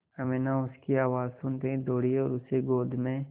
अमीना उसकी आवाज़ सुनते ही दौड़ी और उसे गोद में